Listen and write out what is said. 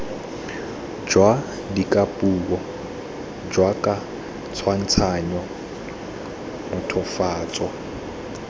jwa dikapuo jaoka tshwantshanyo mothofatso